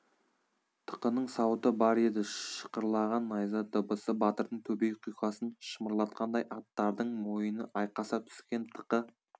тықының сауыты бар еді шықырлаған найза дыбысы батырдың төбе құйқасын шымырлатқандай аттардың мойыны айқаса түскен тықы